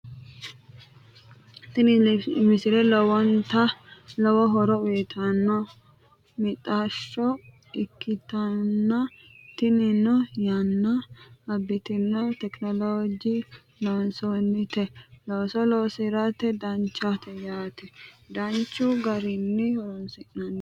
Tiini miisle loowonta loowo hooro uuyitano miixashoo ekkitana tiinino yaana aabitno technologenni loonsonitee looso loosirate daanchanna yaana daanchu gaarinii hooronsinantte.